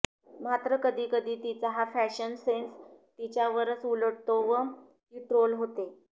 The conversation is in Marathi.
मात्र कधी कधी तिचा हा फॅशन सेन्स तिच्यावरच उलटतो व ती ट्रोल होते